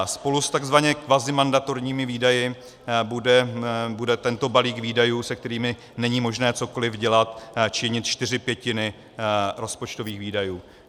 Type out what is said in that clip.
Spolu s tzv. kvazimandatorními výdaji bude tento balík výdajů, se kterými není možné cokoliv dělat, činit čtyři pětiny rozpočtových výdajů.